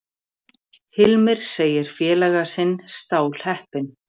Hilmir segir félaga sinn stálheppinn